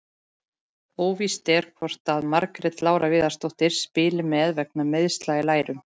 Óvíst er hvort að Margrét Lára Viðarsdóttir spili með vegna meiðsla í lærum.